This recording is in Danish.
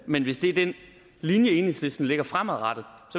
men hvis det er den linje enhedslisten lægger fremadrettet